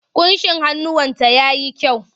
Ƙunshin hannunta ya yi kyau.